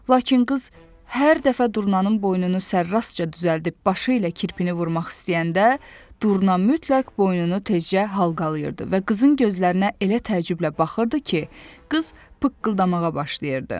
Lakin qız hər dəfə durnanın boynunu sərrastca düzəldib başı ilə kirpini vurmaq istəyəndə, durna mütləq boynunu tezcə halqalıyırdı və qızın gözlərinə elə təəccüblə baxırdı ki, qız pıqqıldamağa başlayırdı.